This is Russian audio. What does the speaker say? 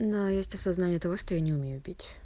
но есть осознание того что я не умею пить